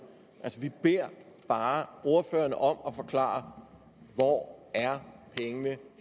vi beder bare ordførerne om at forklare hvor